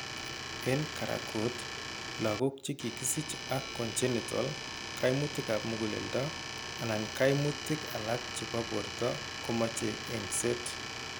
En karagut, lagok che kakisich aak congenital kaimutikap muguleldo anan kaimutik alak cheebo borto komoche engset.